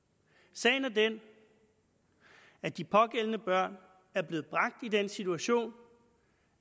sagen er den at de pågældende børn er blevet bragt i den situation